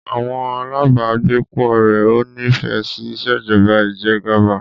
Àwọn alábàágbépọ̀ rẹ̀ ò nífẹẹ sí ìṣèjọba ìjẹgàba.